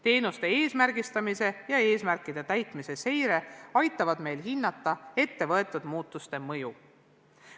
Teenuste eesmärgistamise ja eesmärkide täitmise seire aitavad meil hinnata ettevõetud muudatuste mõju.